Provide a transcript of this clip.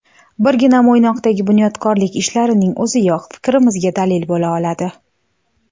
Birgina Mo‘ynoqdagi bunyodkorlik ishlarining o‘ziyoq fikrimizga dalil bo‘la oladi.